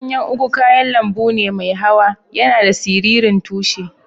Ganyan ugu kayan lambu ne mai hawa. Yana da siririn tushi.